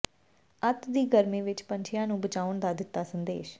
ਅੱਤ ਦੀ ਗਰਮੀ ਵਿਚ ਪੰਛੀਆਂ ਨੂੰ ਬਚਾਉਣ ਦਾ ਦਿੱਤਾ ਸੰਦੇਸ਼